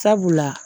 Sabula